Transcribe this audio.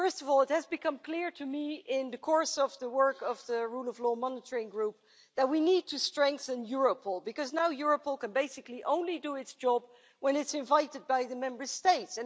First of all, it has become clear to me in the course of the work of the rule of law monitoring group that we need to strengthen Europol because now Europol can now basically only do its job when it is invited by the Member States.